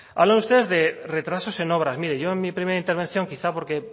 hablan ustedes de retrasos en obras mire yo en mi primera intervención quizá porque